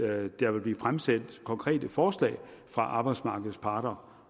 at der vil blive fremsendt konkrete forslag fra arbejdsmarkedets parter